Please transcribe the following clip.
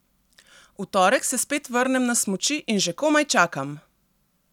V torek se spet vrnem na smuči in že komaj čakam!